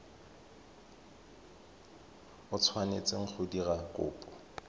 o tshwanetseng go dira kopo